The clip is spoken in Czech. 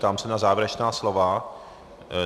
Ptám se na závěrečná slova.